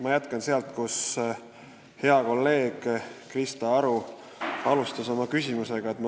Ma jätkan teemal, mida hea kolleeg Krista Aru oma küsimusega alustas.